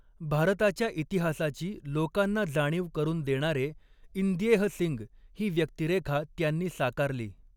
भारताच्या इतिहासाची लोकांना जाणीव करून देणारे इंद्येह सिंग ही व्यक्तिरेखा त्यांनी साकारली.